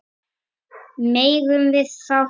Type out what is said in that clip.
Megum við fá hund?